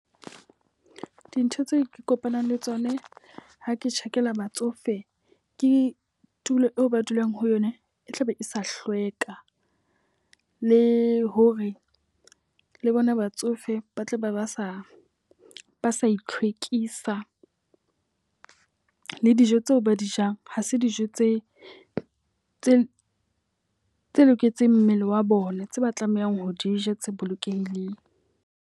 Dintho tseo ke kopanang le tsona ha ke tjhakela batsofe, ke tulo eo ba dulang ho yona. E tlabe e sa hlweka, le hore le bona batsofe ba tle ba ba sa ba sa itlhwekisa le dijo tseo ba di jang. Ha se dijo tse tse tse loketseng mmele wa bona tse ba tlamehang ho di ja, tse bolokehileng.